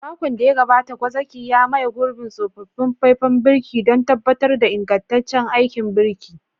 Makon da ya gabata, gwazakin ya maye gurbin tsofaffin faifan birki don tabbatar da ingantaccen aikin birki.